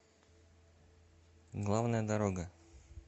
главная дорога